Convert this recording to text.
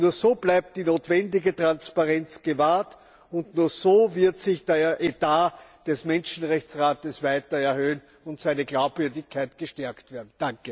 Nur so bleibt die notwendige Transparenz gewahrt, und nur so wird sich der Etat des Menschenrechtsrates weiter erhöhen und seine Glaubwürdigkeit gestärkt werden.